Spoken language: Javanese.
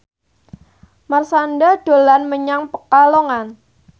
Marshanda dolan menyang Pekalongan